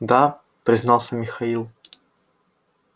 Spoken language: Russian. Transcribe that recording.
да признался михаил